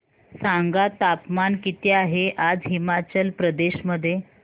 सांगा तापमान किती आहे आज हिमाचल प्रदेश मध्ये